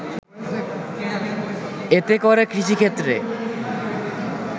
এতে করে কৃষিক্ষেত্রে